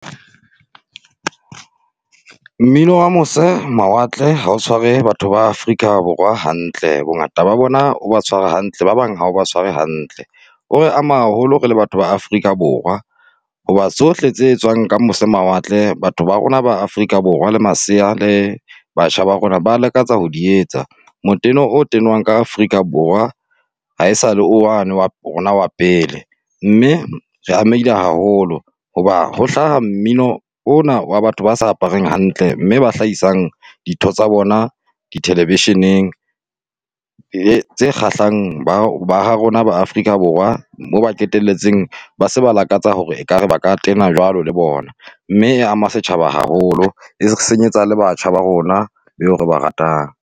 Mmino wa mose mawatle ha o tshware batho ba Afrika Borwa hantle, bongata ba bona o tshware hantle, ba bang haba tshwarwe hantle. O re ama haholo re le batho ba Afrika Borwa, hoba tsohle tse etswang ka mose mawatle batho ba rona ba Afrika Borwa la masea, le batjha ba rona ba lakatsa ho di etsa. Moteno o tenwang ka Afrika Borwa, ha esale wane wa rona wa pele. Mme re amehile haholo, hoba ho hlaha mmino o na wa batho ba sa apareng hantle, mme ba hlahisang ditho tsa bona di television-eng tse kgahlang ba ha rona ba Afrika Borwa mo ba qetelletse ba se ba lakatsa hore ekare ba ka tena jwalo le bona. Mme e ama setjhaba haholo, e re senyetsa le batjha ba rona beo re ba ratang.